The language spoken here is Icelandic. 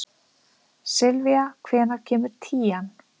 Sylvía, hvenær kemur tían?